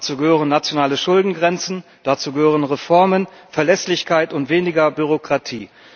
Dazu gehören nationale Schuldengrenzen, dazu gehören Reformen, Verlässlichkeit und weniger Bürokratie.